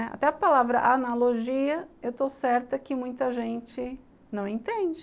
Até a palavra analogia, eu estou certa que muita gente não entende.